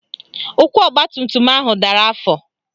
Ụkwụ ọgbatumtum ahụ dara afọ